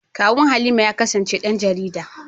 Kawun Halima ya kasance ɗan jarida.